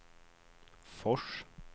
Fors